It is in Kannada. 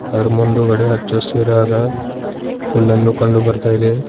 ಅದ್ರು ಮುಂದುಗಡೆ ಹಚ್ಚ ಹಸಿರಾದ ಹುಲ್ಲನ್ನ ಕಂಡು ಬರ್ತಾ ಇದೆ.